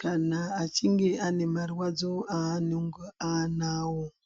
kana echinge ane marwadzo anonga anawo.